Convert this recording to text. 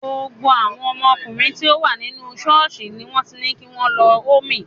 Gbogbo àwọn ọkùnrin tí ó wà nínú ṣọ́ọ̀ṣì ni wọ́n ti ní kí wọ́n lọ hoome.